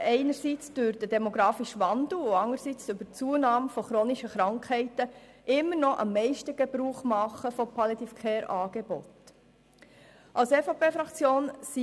Aufgrund des demografischen Wandels und der Zunahme von chronischen Krankheiten machen diese Personen immer noch am meisten Gebrauch von Angeboten der Palliative Care.